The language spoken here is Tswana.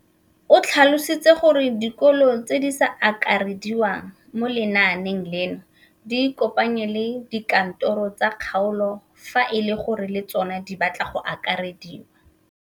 O tlhalositse gore dikolo tse di sa akarediwang mo lenaaneng leno di ikopanye le dikantoro tsa kgaolo fa e le gore le tsona di batla go akarediwa.